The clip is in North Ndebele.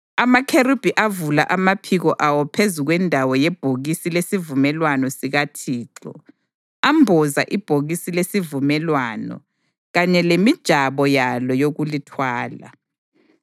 Amakherubhi avula amaphiko awo phezu kwendawo yebhokisi lesivumelwano sikaThixo, amboza ibhokisi lesivumelwano kanye lemijabo yalo yokulithwala.